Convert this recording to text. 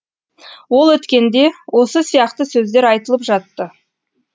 ол өткенде осы сияқты сөздер айтылып жатты